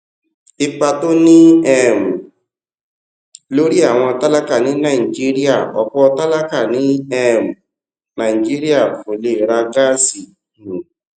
ipa tó ní um lórí àwọn tálákà ní nàìjíríà òpò tálákà ní um nàìjíríà kò lè ra gáàsì um